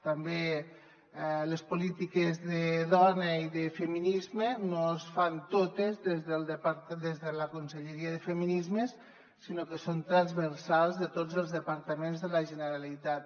també les polítiques de dona i de feminisme no es fan totes des de la conselleria de feminismes sinó que són transversals de tots els departaments de la generalitat